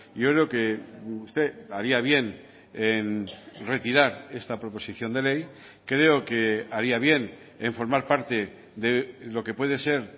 yo creo que usted haría bien en retirar esta proposición de ley creo que haría bien en formar parte lo que puede ser